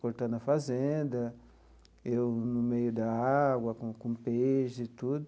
Cortando a fazenda, eu no meio da água, com com peixe e tudo.